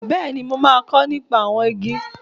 Bẹ́ẹ̀ni, mo máa kọ́ nípa àwọn igi.